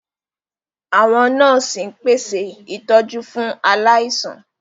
Àwọn nọ́ọ̀sì ń pèsè ìtọ́jú fún aláìsàn.